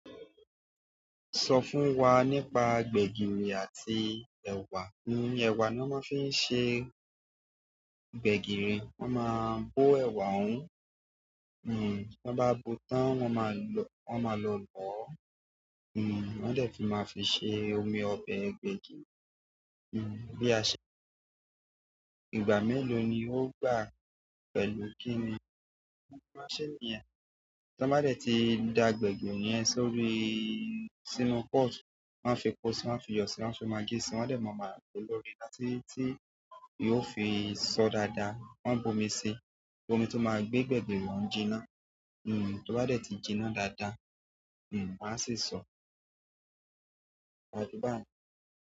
Sọ fún wa nípa gbẹ̀gìrì àti ẹ̀wà. Ni ẹ̀wà ni wọ́n máa fi ń ṣe gbẹ̀gìrì. Wọ́n máa bó ẹ̀wà ọ̀hún. T'ọ́n bá bóo tán, wọ́n máa lọ lọ̀ọ́ wọ́n dẹ̀ tún máa fi ṣe omi ọbẹ̀ gbẹ̀gìrì. Bí a ṣe. Ìgbà mélòó ni ó gbà pẹ̀lú kí ni? Wọ́n máa ń ṣe ní ẹ. T'ọ́n bá dẹ̀ ti da gbẹ̀gìrì yẹn sórí, sínú pot, wọ́n á fepo si, wọ́n á fiyọ̀ si, wọ́n á fi magí si, wọ́n dẹ̀ máa padà gbe léná títí yóò fi sọ dáadáa. Wọ́n á bó omi sí i, omi tó máa gbé gbẹ̀gìrì ọ̀hún jinná. Tó bá dẹ̀ ti jinná dáadáa, wọ́n á sì sọ̀ọ́. Ṣé báàjẹ́ bá mi?